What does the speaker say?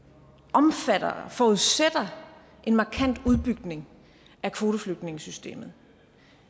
omfatter og forudsætter en markant udbygning af kvoteflygtningesystemet